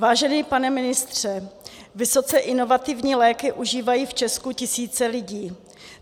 Vážený pane ministře, vysoce inovativní léky užívají v Česku tisíce lidí.